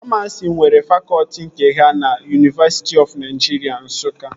Famasi nwere fakọtị nke ha na Yunivesiti ọf Naịjiria Nsụka